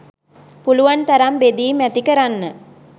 පුළුවන් තරම් බෙදීම් ඇති කරන්න.